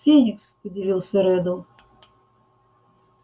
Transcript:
феникс удивился реддл